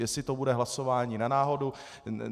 Jestli to bude hlasování na náhodu.